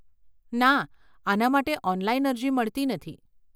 ના, આને માટે ઓનલાઈન અરજી મળતી નથી.